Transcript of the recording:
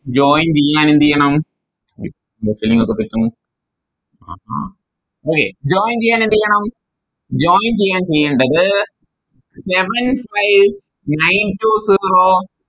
Join ചെയ്യാൻ എന്തെയ്യണം ആഹാ Okay join ചെയ്യാൻ എന്തെയ്യണം Join ചെയ്യാൻ ചെയ്യേണ്ടത് Seven five nine two zero